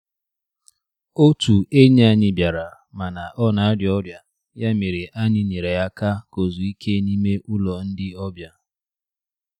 Otụ enyi anyị bịara, mana ọ na-arịa ọrịa, ya mere anyị nyere ya aka ka ozuo ike n'ime ụlọ ndi obia.